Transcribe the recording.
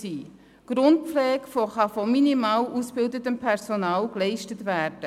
Die Grundpflege kann von minimal ausgebildetem Personal geleistet werden.